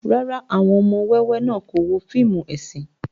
Rárá, awọn ọmọ wẹwẹ náa ko wo fiimu esin